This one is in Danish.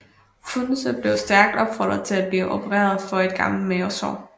Frunze blev stærkt opfordret til at blive opereret for et gammelt mavesår